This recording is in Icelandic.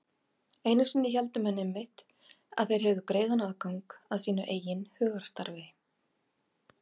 Einu sinni héldu menn einmitt að þeir hefðu greiðan aðgang að sínu eigin hugarstarfi.